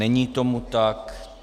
Není tomu tak.